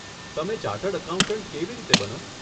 તમે chartered accountant કેવી રીતે બનો?